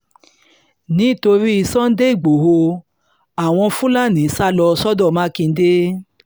nítorí sunday lgboro àwọn fúlàní sá sá lọ sọ́dọ̀ mákindè